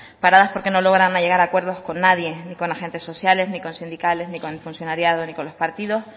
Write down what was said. paradas porque no logran llegar acuerdos con nadie ni con agentes sociales ni con sindicales ni con el funcionariado ni con los partidos